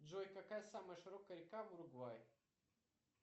джой какая самая широкая река в уругвае